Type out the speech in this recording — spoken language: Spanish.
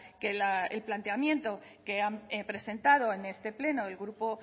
que el planteamiento que han presentado en este pleno el grupo